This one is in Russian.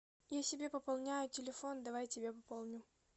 я себе пополняю телефон давай и тебе пополню